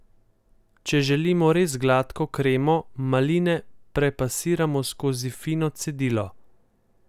Če želimo res gladko kremo, maline prepasiramo skozi fino cedilo.